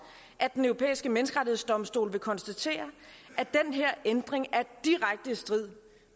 at den europæiske menneskerettighedsdomstol vil konstatere at den her ændring er direkte i strid